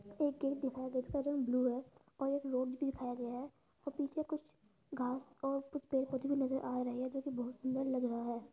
एक गेट दिखाया गया है। इसका रंग ब्लू है और एक रोड भी दिखाया गया है और पीछे कुछ घास और कुछ पेड़ पौधे भी नज़र आ रहे हैं जो कि बोहोत सुंदर लग रहा है।